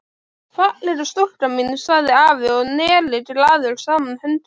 Fallega stúlkan mín sagði afi og neri glaður saman höndunum.